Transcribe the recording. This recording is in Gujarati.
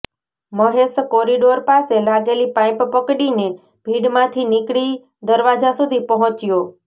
મહેશ કોરિડોર પાસે લાગેલી પાઈપ પકડીને ભીડમાંથી નીકળી દરવાજા સુઘી પહોંચ્યો